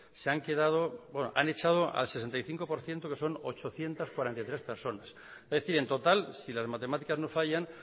se han quedado bueno han echado al setenta y cinco por ciento que son ochocientos cuarenta y tres personas es decir en total si las matemáticas no fallan